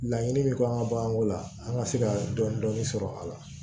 Laɲini min k'an ka baganko la an ka se ka dɔni sɔrɔ a la